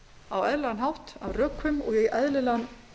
á eðlilegan hátt af rökum og í eðlilegan